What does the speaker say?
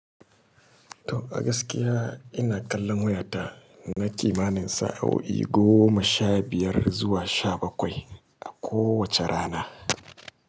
To, a gaskiya ina kallon wayata na kimanin sa'o'i goma sha biyar zuwa sha bakwai a kowace rana.